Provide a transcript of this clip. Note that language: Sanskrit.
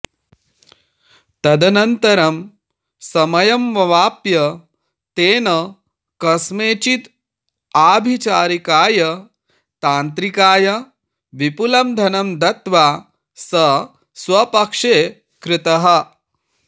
तदनन्तरं समयमवाप्य तेन कस्मैचिद् आभिचारिकाय तान्त्रिकाय विपुलं धनं दत्त्वा स स्वपक्षे कृतः